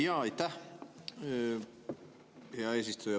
Hea eesistuja!